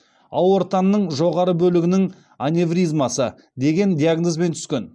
аортаның жоғарғы бөлігінің аневризмасы деген диагнозбен түскен